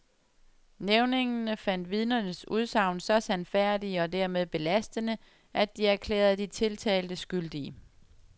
Nævningene fandt vidnernes udsagn så sandfærdige og dermed belastende, at de erklærede de tiltalte skyldige.